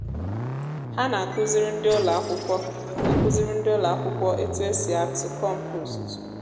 há nà àkụziri ndị ụlọakwụkwọ àkụziri ndị ụlọakwụkwọ ètù esị atụ kọmpost